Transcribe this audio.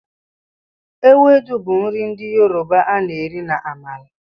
Ewedu bụ nri ndị Yoroba a na-eri na amala.